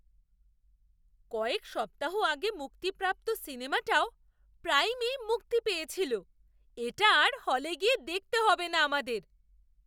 কয়েক সপ্তাহ আগে মুক্তিপ্রাপ্ত সিনেমাটাও প্রাইমেই মুক্তি পেয়েছিল! এটা আর হলে গিয়ে দেখতে হবে না আমাদের!